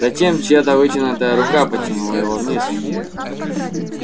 затем чья-то вытянутая рука потянула его вниз